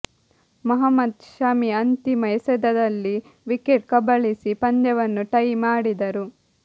ಮೊಹಮ್ಮದ್ ಶಮಿ ಅಂತಿಮ ಎಸೆತದಲ್ಲಿ ವಿಕೆಟ್ ಕಬಳಿಸಿ ಪಂದ್ಯವನ್ನು ಟೈ ಮಾಡಿದರು